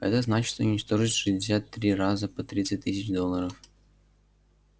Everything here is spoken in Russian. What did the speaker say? это значит уничтожить шестьдесят три раза по тридцать тысяч долларов